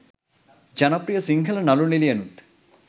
ජනප්‍රිය සිංහල නලු නිලියනුත්